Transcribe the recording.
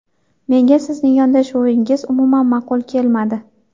Menga sizning yondashuvingiz umuman ma’qul kelmadi.